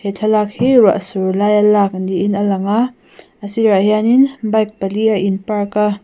thlalak hi ruah sur laia lak niin a langa a sirah hianin bike pali a in park a.